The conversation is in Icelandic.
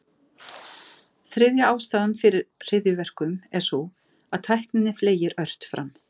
Þriðja ástæðan fyrir hryðjuverkum er sú, að tækninni fleygir ört fram.